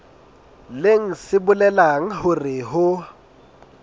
leng se bolelang hore ho